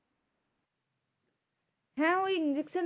হ্যাঁ ওই injection